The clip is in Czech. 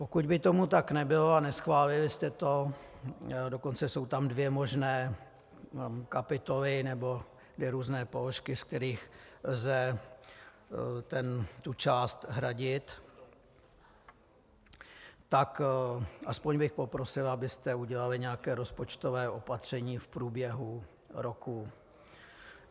Pokud by tomu tak nebylo a neschválili jste to - dokonce jsou tam dvě možné kapitoly nebo dvě různé položky, z kterých lze tu část hradit -, tak aspoň bych poprosil, abyste udělali nějaké rozpočtové opatření v průběhu roku.